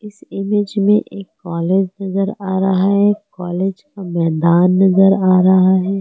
इस इमेज में एक कॉलेज नजर आ रहा है कॉलेज का मैदान नजर आ रहा है।